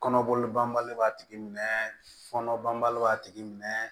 Kɔnɔboli banbali b'a tigi minɛ fɔnɔban b'a tigi minɛ